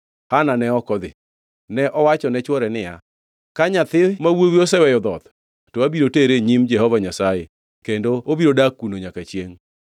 Hana ne ok odhi. Ne owacho ne chwore niya, “Ka nyathi ma wuowi oseweyo dhoth to abiro tere e nyim Jehova Nyasaye kendo obiro dak kuno nyaka chiengʼ.”